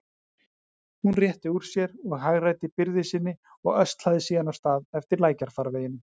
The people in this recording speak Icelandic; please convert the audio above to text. Hún rétti úr sér og hagræddi byrði sinni og öslaði síðan af stað eftir lækjarfarveginum.